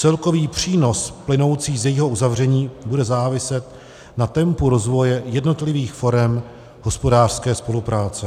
Celkový přínos plynoucí z jejího uzavření bude záviset na tempu rozvoje jednotlivých forem hospodářské spolupráce.